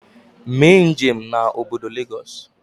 Mee njem na obodo Lagos